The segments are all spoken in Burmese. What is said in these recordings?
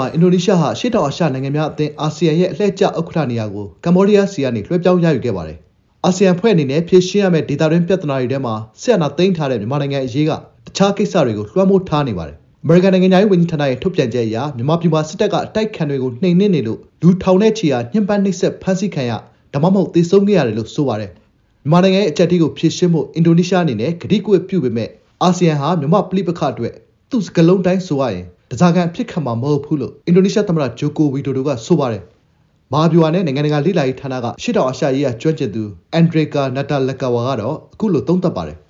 ှာ အင်ဒိုနီးရှားဟာ အရှေ့တောင်အာရှနိုင်ငံများအသင်း အာဆီယံရဲ့ အလှည့်ကျ ဥက္ကဋ္ဌနေရာကို ကမ္ဘောဒီးယားဆီကနေ လွှဲပြောင်းရယူခဲ့ပါတယ်။ အာဆီယံ အဖွဲ့အနေနဲ့ ဖြေရှင်းရမယ့် ဒေသတွင်း ပြဿနာတွေထဲမှာ စစ်အာဏာသိမ်းထားတဲ့ မြန်မာနိုင်ငံအရေးက အခြားကိစ္စတွေကို လွှမ်းမိုးထားနေပါတယ်။ အမေရိကန် နိုင်ငံခြားရေးဝန်ကြီးဌာနရဲ့ ထုတ်ပြန်ချက်အရ မြန်မာပြည်မှာ စစ်တပ်က အတိုက်အခံတွေကို နှိမ်နင်းနေလို့ လူထောင်နဲ့ချီဟာ ညှဉ်ပမ်း နှိပ်စက် ဖမ်းဆီးခံရ၊ ဒါမှမဟုတ် သေဆုံးခဲ့ရတယ်လို့ ဆိုပါတယ်။ မြန်မာနိုင်ငံရဲ့ အကျပ်အတည်းကို ဖြေရှင်းဖို့ အင်ဒိုနီးရှား အနေနဲ့ ကတိကဝတ်ပြုပေမယ့် အာဆီယံဟာ မြန်မာ့ ပဋိပက္ခ အတွက် သူ့စကားလုံး အတိုင်း ဆိုရရင် “ဓားစာခံ” အဖြစ်ခံမှာ မဟုတ်ဘူးလို့ အင်ဒိုနီးရှားသမ္မတ ဂျိုကိုဝီဒိုဒိုက ဆိုပါတယ်။ မဟာဗျူဟာနဲ့ နိုင်ငံတကာလေ့လာရေးဌာနက အရှေ့တောင်အာရှရေးရာကျွမ်းကျင်သူ အန်ဒရေကာ နာတာလက်ဂါဝါ ကတော့ အခုလို သုံးသပ်ပါတယ်။ “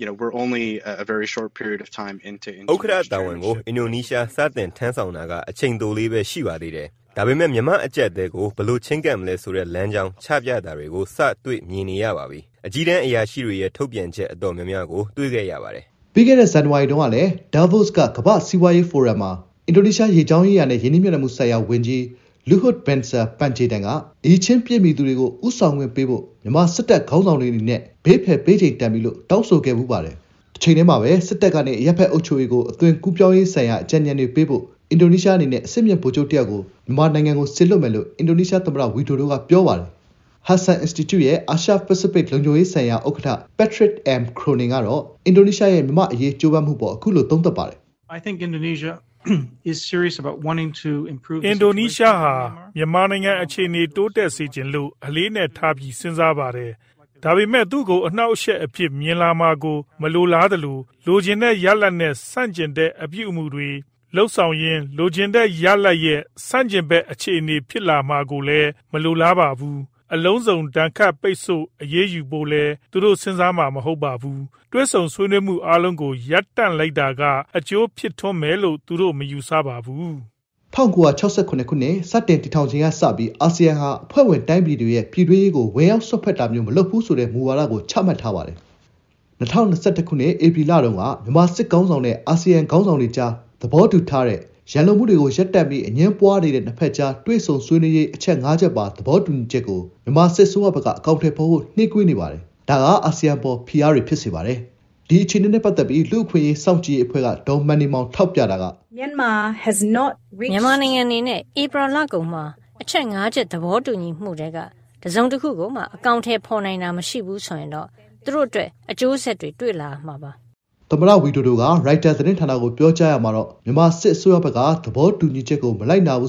ဥက္ကဋ္ဌတာဝန်ကို အင်ဒိုနီးရှား စတင် ထမ်းဆောင်တာက အချိန်တိုလေးပဲ ရှိပါသေးတယ်၊ ဒါပေမယ့် မြန်မာ့ အကျပ်အတည်းကို ဘယ်လို ချဉ်းကပ်မလဲ ဆိုတဲ့ လမ်းကြောင်း ချပြတာတွေကို စ တွေ့မြင်နေရပါပြီ။ အကြီးတန်း အရာရှိတွေရဲ့ ထုတ်ပြန်ချက် အတော်များများကို တွေ့ခဲ့ရပါတယ်။” ပြီးခဲ့တဲ့ ဇန်နဝါရီ တုန်းကလည်း ဒါးဗို့စ် က ကမ္ဘာ့စီးပွားရေးဖိုရမ်မှာ အင်ဒိုနီးရှား ရေကြောင်းရေးရာနဲ့ ရင်းနှီးမြှုပ်နှံမှုဆိုင်ရာ ဝန်ကြီး လူဟွတ်ဘင်ဆာ ပန်ဂျေတန် (Luhut Binsar Pandjaitan)က “အရည်အချင်းပြည့်မီသူတွေကို ဦးဆောင်ခွင့်ပေးဖို့ မြန်မာစစ်တပ်ခေါင်းဆောင်တွေ အနေနဲ့ ဘေးဖယ် ပေးချိန် တန်ပြီ” လို့ တောင်းဆိုခဲ့ဖူးပါတယ်။ တချိန်တည်းမှာပဲ စစ်တပ်ကနေ အရပ်ဘက်အုပ်ချုပ်ရေးကို အသွင်ကူးပြောင်းရေးဆိုင်ရာ အကြံဉာဏ်တွေပေးဖို့ အင်ဒိုနီးရှား အနေနဲ့ အဆင့်မြင့် ဗိုလ်ချုပ်တယောက်ကို မြန်မာနိုင်ငံကို စေလွှတ်မယ်လို့ အင်ဒိုနီးရှားသမ္မတ ဝီဒိုဒိုက ပြောပါတယ်။ ဟဒ်ဆန် အင်စတီကျု ရဲ့ အာရှ-ပစိဖိတ် လုံခြုံရေး ဆိုင်ရာ ဥက္ကဋ္ဌ ပက်ထရစ် အမ် ခရိုနင် (Patrick M. Cronin) ကတော့ အင်ဒိုနီးရှားရဲ့ မြန်မာ့အရေး ကြိုးပမ်းမှု အပေါ် အခုလို သုံးသပ်ပါတယ်။ “အင်ဒိုနီးရှားဟာ မြန်မာနိုင်ငံ အခြေအနေကို တိုးတက်စေချင်လို့ အလေးအနက်ထားပြီး စဉ်းစားပါတယ်၊ ဒါပေမယ့် သူ့ကို အနှောင့်အယှက်အဖြစ် မြင်လာမှာကို မလိုလားသလို လိုချင်တဲ့ ရလဒ်နဲ့ ဆန့်ကျင်တဲ့ အပြုအမူတွေ လုပ်ဆောင်ရင်း လိုချင်တဲ့ ရလဒ်ရဲ့ ဆန့်ကျင်ဘက် အခြေအေန ဖြစ်လာမှာကိုလည်း မလိုလားပါဘူး။ အလုံးစုံ ဒဏ်ခတ်ပိတ်ဆို့ အရေးယူဖို့လည်း သူတို့ စဉ်းစားမှာ မဟုတ်ပါဘူး။ တွေ့ဆုံ ဆွေးနွေးမှုအားလုံးကို ရပ်တန့်လိုက်တာက အကျိုးဖြစ်ထွန်းမယ်လို့ သူတို့က မယူဆပါဘူး။” ၁၉၆၇ ခုနှစ် စတင်တည်ထောင်ချိန်ကစပြီး အာဆီယံဟာ အဖွဲ့ဝင်တိုင်းပြည်တွေရဲ့ ပြည်တွင်းရေးကို ဝင်ရောက်စွက်ဖက်တာမျိုး မလုပ်ဘူးဆိုတဲ့ မူဝါဒကို ချမှတ်ထားပါတယ်။ ၂၀၂၁ ခုနှစ် ဧပြီလတုန်းက မြန်မာစစ်ခေါင်းဆောင်နဲ့ အာဆီယံခေါင်းဆောင်တွေကြား သဘောတူထားတဲ့ ရန်လိုမှုတွေကို ရပ်တန့်ပြီး အငြင်းပွားနေတဲ့ နှစ်ဖက်ကြား တွေ့ဆုံ ဆွေးနွေးရေး အချက် ၅ ချက်ပါ သဘောတူညီချက်ကိုလည်း မြန်မာစစ်အစိုးရဘက်က အကောင်အထည်ဖော်ဖို့ နှေးကွေးနေပါတယ်။ ဒါက အာဆီယံ အပေါ် ဖိအားတွေ ဖြစ်စေပါတယ်။ ဒီအခြေအနေနဲ့ ပတ်သက်ပြီး လူ့အခွင့်အရေး စောင့်ကြည့်ရေးအဖွဲ့က ဒေါ်မန်နီမောင် ထောက်ပြတာက - “မြန်မာအနေနဲ့ ဧပြီလကုန်မှာ အချက် ၅ ချက် သဘောတူညီမှုထဲက တစ်စုံတစ်ရာကိုမှ အကောင်အထည်ဖော်နိုင်တာ မရှိဘူးဆိုရင် သူတို့အတွက် အကျိုးဆက်တွေ ဖြစ်လာမှာပါ။” သမ္မတ ဝီဒိုဒိုက ရိုက်တာ သတင်းဌာနကို ပြောကြားရာမှတော့ မြန်မာစစ်အစိုးရဘက်က သဘောတူညီချက်ကို မလိုက်နာပါ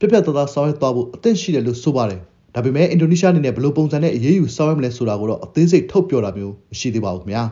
က ပြတ်ပြတ်သားသား ဆောင်ရွက်သွားဖို့ အသင့်ရှိတယ်လို ဆိုပါတယ်။ ဒါပေမယ့် အင်ဒိုနီးရှားအနေနဲ့ ဘယ်လို ပုံစံနဲ့ အရေးယူဆောင်ရွက်မလဲဆိုတာကိုတော့ အသေးစိတ် ထုတ်ပြောတာမျိုး မရှိသေးပါဘူး ခင်ဗျာ